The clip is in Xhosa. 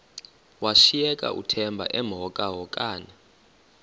washiyeka uthemba emhokamhokana